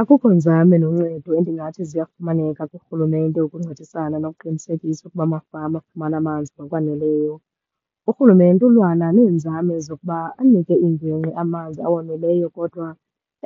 Akukho nzame noncedo endingathi ziyafumaneka kurhulumente ukuncedisana nokuqinisekisa ukuba amafama afumana amanzi ngokwaneleyo. Urhulumente ulwana neenzame zokuba anike iingingqi amanzi awoneleyo, kodwa